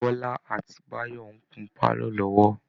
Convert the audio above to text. Bọ́lá àti Báyọ̀ ń kun pálọ̀ lọ́wọ́